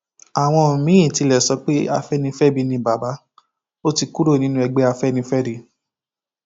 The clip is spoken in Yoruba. àwọn míín tilẹ sọ pé afẹnifẹbi ni bàbá ó ti kúrò nínú ẹgbẹ afẹnifẹre